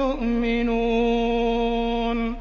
يُؤْمِنُونَ